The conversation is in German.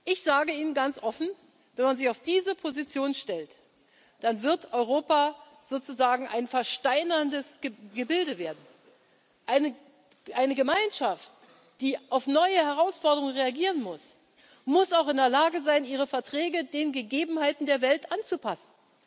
Ich sage Ihnen ganz offen Wenn man sich auf diese Position stellt, dann wird Europa sozusagen ein versteinerndes Gebilde werden. Eine Gemeinschaft, die auf neue Herausforderungen reagieren muss, muss auch in der Lage sein, ihre Verträge den Gegebenheiten der Welt anzupassen.